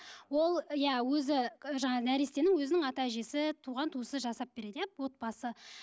ол иә өзі жаңағы нәрестенің өзінің ата әжесі туған туысы жасап береді иә отбасы